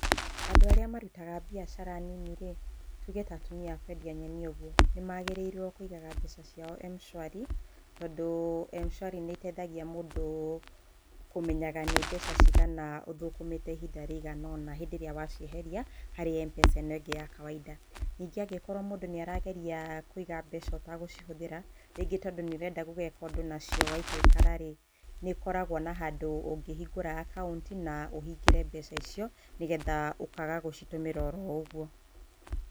Andũ arĩa marutaga mbiacara nini-rĩ, tuge ta atumia a kwendia nyeni ũguo, nĩmagĩrĩirwo nĩ kũigaga mbeca ciao M-shwari tondũ M-shwari nĩ ĩteithagia mũndũ kũmenyaga nĩ mbeca cigana ũthũ kũmĩte ihinda rĩigana ũna rĩrĩa waciehereia harĩ M-mpesa ĩno ĩngĩ ya kawainda. Ningĩ ũngĩkora mũndũ nĩ arageria kũiga mbeca ũtagũcihũthĩra, rĩngĩ nĩ tondũ nĩ ũrenda gũgeka ũndũ nacio waikaikara-rĩ, nĩ ũkoragwo na handũ ũngĩhingũra akaunti na ũhingĩre mbeca icio nĩgetha ũkaga gũcitũmĩra oũguo.